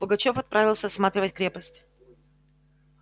пугачёв отправился осматривать крепость